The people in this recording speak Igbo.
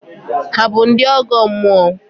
Hà bụ ndị ọgọ mmụọ?